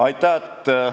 Aitäh!